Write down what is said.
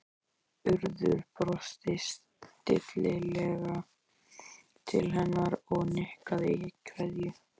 Urður brosti stillilega til hennar og nikkaði í kveðju